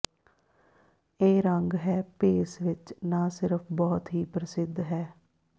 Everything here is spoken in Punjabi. ਇਹ ਰੰਗ ਹੈ ਭੇਸ ਵਿੱਚ ਨਾ ਸਿਰਫ ਬਹੁਤ ਹੀ ਪ੍ਰਸਿੱਧ ਹੈ